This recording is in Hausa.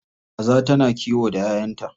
Kaza tana kiwo da 'ya'yanta.